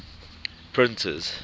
printers